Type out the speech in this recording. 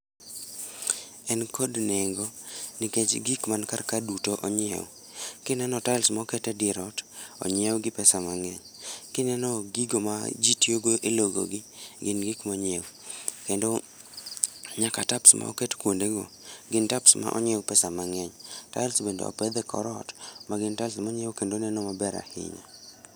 En kod nengo nikech gik man kar ka duto onyiew. Kineno tiles moket e dier ot, onyie gi pesa mangeny, kineno gigo ma jii tiyo go e logo gi, gin gik monyiew. Kendo nyaka tcs]taps moket kuonde go, gin taps monyiew gi pesa mangeny.T [cT]tiles bende opedh e kor ot magin tiles monyiew kendo neno maber ahinya